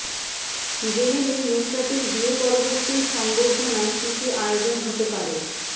জেনে নিন নুসরাতের বিয়ে পরবর্তী সংবর্ধনায় কী কী আয়োজন হতে পারে